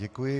Děkuji.